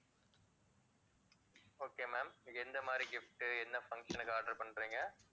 okay ma'am நீங்க எந்த மாதிரி gift உ என்ன function க்கு order பண்றீங்க?